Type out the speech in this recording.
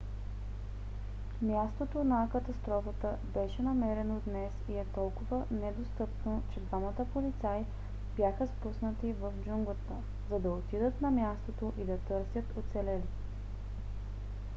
мястото на катастрофата беше намерено днес и е толкова недостъпно че двама полицаи бяха спуснати в джунглата за да отидат на мястото и да търсят оцелели